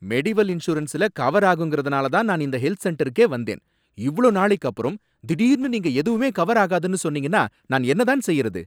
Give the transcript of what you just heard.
Medieval இன்சூரன்ஸுல cover ஆகுங்கிறதுனாலதான் நான் இந்த ஹெல்த் சென்டருக்கே வந்தேன், இவளோ நாளைக்கப்பறம் திடீர்னு நீங்க எதுவுமே கவர் ஆகாதுன்னு சொன்னீங்கன்னா நான் என்னதான் செய்யறது!